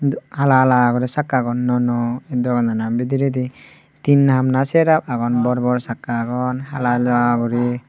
hala hala gorinay sakkagun nuo nuo aye doganano bidiredi teen hap naa ser hap agon bor bor sakka agon hala hala gori.